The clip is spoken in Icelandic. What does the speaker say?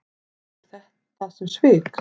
Lítur á þetta sem svik?